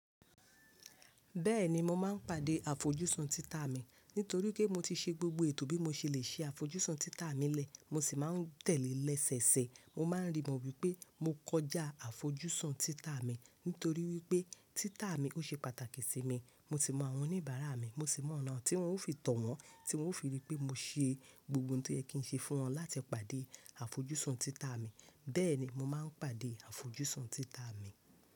Bẹ́ẹ̀ni mo máa ń pàdé àfojúsùn títà mi nítorí pé mo ti ṣe gbogbo ètò bí mo ṣe lè ṣe àfojúsùn títà mi i lẹ́, mo sì máa ń tẹ̀lé lẹ́ ṣẹ̀eṣẹ̀. Mo máa ń rí i mọ́ wípé mo kọjá àfojúsùn títà mi nítorí wípé títà mi ó ṣe pàtàkì sí mi. Mo si mọ̀ àwọn oníbàárà mi, mo sì mọ̀ ọ̀nà tí n ó fi tọ̀ wọn, tí wọ́n ó fi rí i pé mo ṣe gbogbo ohun to yẹ kì ń ṣe fún wọn láti pàdé àfojúsùn títà mi. Bẹ́ẹ̀ni mo máa ń pàdé àfojúsùn títà mi.